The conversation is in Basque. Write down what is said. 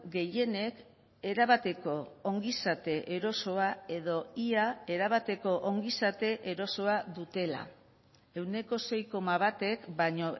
gehienek erabateko ongizate erosoa edo ia erabateko ongizate erosoa dutela ehuneko sei koma batek baino